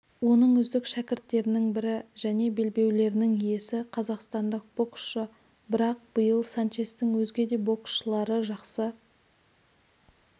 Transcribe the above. оның үздік шәкірттерінің бірі және белбеулерінің иесі қазақстандық боксшы бірақ биыл санчестің өзге де боксшылары жақсы